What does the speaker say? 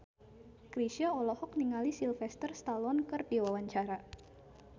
Chrisye olohok ningali Sylvester Stallone keur diwawancara